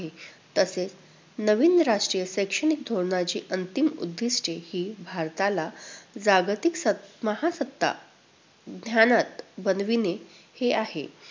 तसेच नवीन राष्ट्रीय शैक्षणिक धोरणाची अंतिम उद्दिष्ट्ये ही भारताला जागतिक सत~महासत्ता ज्ञानात बनविणे हे आहे.